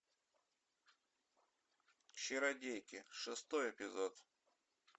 чародейки шестой эпизод